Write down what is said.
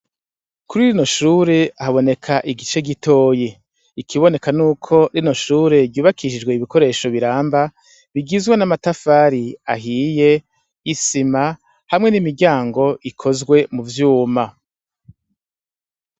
Kuri rino shure haboneka igice gitoya. Ikiboneka n'uko rino shure ryubakishijwe ibikoresho biramba bigizwe n'amatafari ahiye, isima hamwe n'imiryango ikozwe mu vyuma.